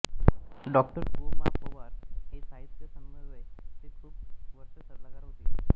डॉ गो मा पवार हे साहित्य समन्वय चे खूप वर्ष सल्लागार होते